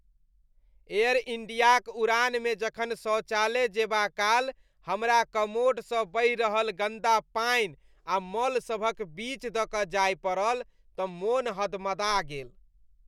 Air इण्डियाक उड़ानमे जखन शौचालय जेबाकाल हमरा कमोडसँ बहि रहल गन्दा पानि आ मल सभक बीच दऽ कऽ जाय पड़ल तँ मोन हदमदा गेल।